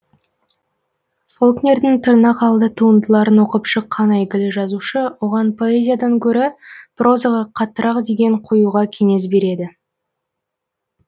фолкнердің тырнақалды туындыларын оқып шыққан әйгілі жазушы оған поэзиядан гөрі прозаға қаттырақ деген қоюға кеңес береді